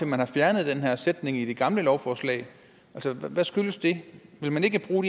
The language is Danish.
man har fjernet den her sætning fra det gamle lovforslag hvad skyldes det vil man ikke bruge